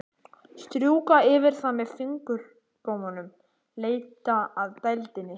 Strjúka yfir það með fingurgómunum, leita að dældinni.